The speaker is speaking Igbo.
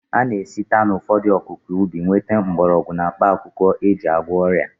A na-esite n'ụfọdụ akụkụ ubi nweta mgbọrọgwụ na mkpaakwụkwọ e ji agwọ ọrịa